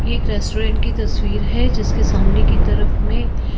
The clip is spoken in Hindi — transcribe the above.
ये एक रेस्टोरेंट की तस्वीर है जिसके सामने की तरफ में--